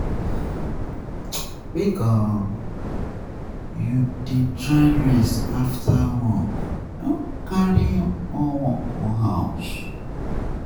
Make um you dey you dey try rest after work, um no carry more work go house.